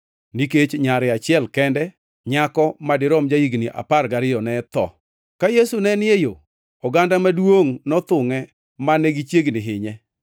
nikech nyare achiel kende, nyako madirom ja-higni apar gariyo, ne tho. Ka Yesu ne ni e yo, oganda maduongʼ nothungʼe mane gichiegni hinye.